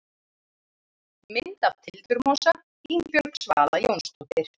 Mynd af tildurmosa: Ingibjörg Svala Jónsdóttir.